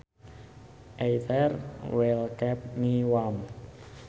Either will keep me warm